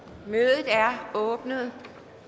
mødet er åbnet